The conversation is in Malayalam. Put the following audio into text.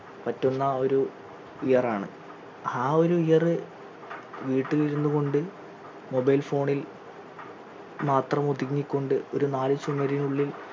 പറ്റുന്ന ഒരു year ആണ് ആ ഒരു year വീട്ടിൽ ഇരുന്നു കൊണ്ട് mobile phone ൽ മാത്രം ഒതുങ്ങിക്കൊണ്ടു ഒരു നാലു ചുമരിനുള്ളിൽ